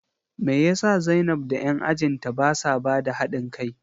Me yasa zainab da 'yan ajin ta basa bada hadin kai?